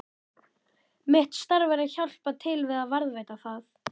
Mitt starf er að hjálpa til við að varðveita það.